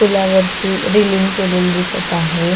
पुला वरती रिलींग केलेलं दिसत आहे.